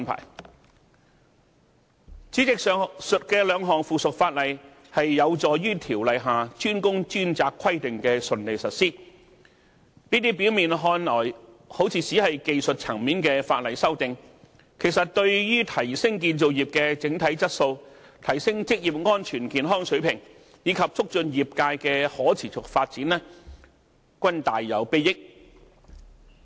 代理主席，上述兩項附屬法例有助於《條例》下"專工專責"規定的順利實施，這些表面看來只是技術層面的法例修訂，其實對於提升建造業的整體質素、提升職業安全健康水平，以及促進業界的可持續發展均大有裨益。